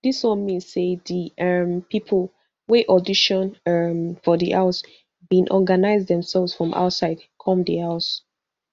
dis one mean say di um pipo wey audition um for di house bin organise demselves from outside come di house